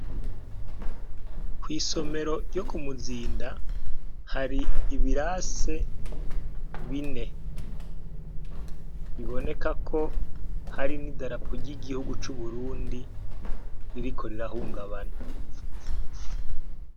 Kwi somero ryo kumuzinda hari ibirase bine biboneka ko hari n' idarapo ry' igihugu c' Uburundi ririko rirahungabana.